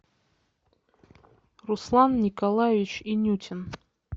руслан николаевич инютин